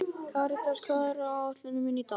Karítas, hvað er á áætluninni minni í dag?